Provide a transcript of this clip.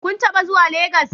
Kun taba zuwa Legas?